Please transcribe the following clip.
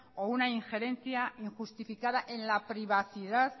o una injerencia injustificada en la privacidad